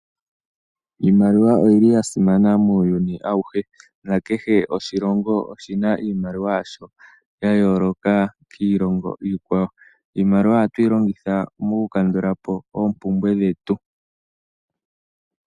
Iimaliwa oyili yasimana muuyuni awuhe ano kehe oshilongo oshina iimaliwa yasho ya yooloka kiilongo iikwawo. Iimaliwa ohatu yi longitha moku kandula po oompumbwe dhetu.